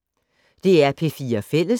DR P4 Fælles